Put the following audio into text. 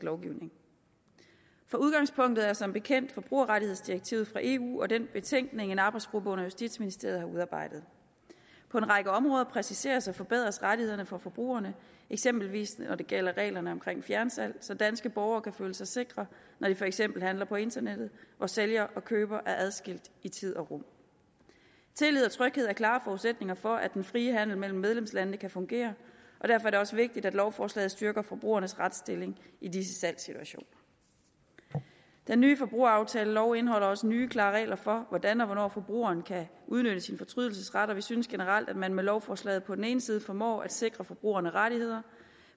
lovgivning for udgangspunktet er som bekendt forbrugerrettighedsdirektivet fra eu og den betænkning en arbejdsgruppe under justitsministeriet har udarbejdet på en række områder præciseres og forbedres rettighederne for forbrugerne eksempelvis når det gælder reglerne om fjernsalg så danske borgere kan føle sig sikre når de for eksempel handler på internettet hvor sælger og køber er adskilt i tid og rum tillid og tryghed er klare forudsætninger for at den frie handel mellem medlemslandene kan fungere og derfor er det også vigtigt at lovforslaget styrker forbrugernes retsstilling i disse salgssituationer den nye forbrugeraftalelov indeholder også nye klare regler for hvordan og hvornår forbrugeren kan udnytte sin fortrydelsesret og vi synes generelt at man med lovforslaget på den ene side formår at sikre forbrugerne rettigheder